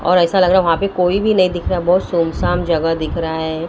और ऐसा लग रहा वहां पे कोई भी नहीं दिख रहा बहुत सुन सान जगह दिख रहा है।